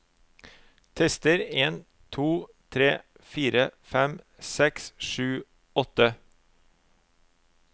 Tester en to tre fire fem seks sju åtte